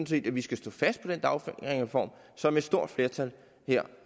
set at vi skal stå fast på den dagpengereform som et stort flertal her